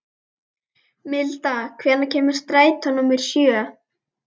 Milda, hvenær kemur strætó númer sjö?